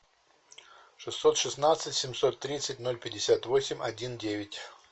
шестьсот шестнадцать семьсот тридцать ноль пятьдесят восемь один девять